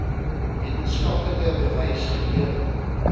wetenskaplike bewys gelewer